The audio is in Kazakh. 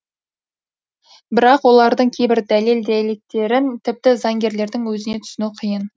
бірақ олардың кейбір дәлел дәйектерін тіпті заңгерлердің өзіне түсіну қиын